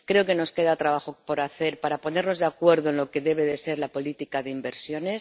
Creo que nos queda trabajo por hacer para ponernos de acuerdo en lo que debe ser la política de inversiones.